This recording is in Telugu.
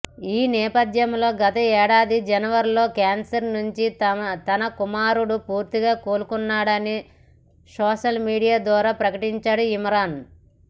ఈనేపథ్యంలో గతేడాది జనవరిలో క్యాన్సర్ నుంచి తన కుమారుడు పూర్తిగా కోలుకున్నాడని సోషల్ మీడియా ద్వారా ప్రకటించాడు ఇమ్రాన్